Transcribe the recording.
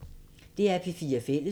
DR P4 Fælles